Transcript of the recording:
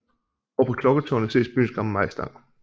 Over for klokketårnet ses byens gamle majstang